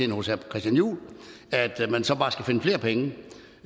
hos herre christian juhl at man så bare skal finde flere penge